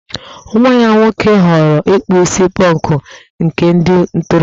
Nwa ya nwoke ghọọrọ ịkpụ isi pọnkụ, nke ndị ntorobịa